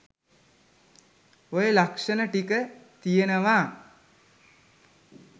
ඔය ලක්ෂණ ටික තියෙනවා